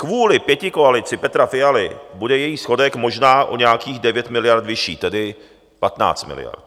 Kvůli pětikoalici Petra Fialy bude její schodek možná o nějakých 9 miliard vyšší, tedy 15 miliard.